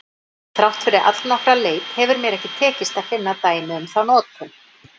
Þrátt fyrir allnokkra leit hefur mér ekki tekist að finna dæmi um þá notkun.